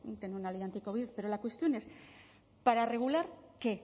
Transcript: tener una ley anticovid pero la cuestión es para regular qué